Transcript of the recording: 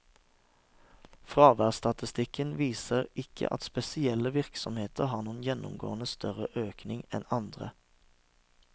Fraværsstatistikken viser ikke at spesielle virksomheter har noen gjennomgående større økning enn andre.